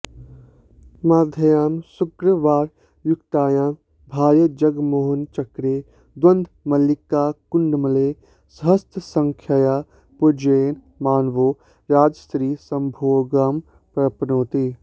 माघ्यां शुक्रवारयुक्तायां भार्याजगन्मोहनचक्रे द्वन्द्वमल्लिकाकुड्मलैः सहस्रसङ्ख्यया पूजयन् मानवो राजस्त्रीसम्भोगमाप्नोति